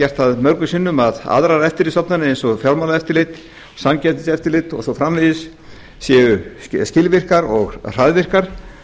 gert það mörgum sinnum að aðrar eftirlitsstofnanir eins og fjármálaeftirlit samkeppniseftirlit og svo framvegis séu skilvirkar og hraðvirkar